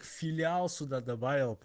филиал суда добавил